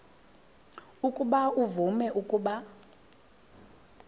ukuba uvume ukuba